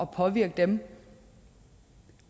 påvirke den